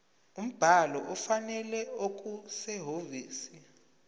umbhalo ofanele okusehhovisi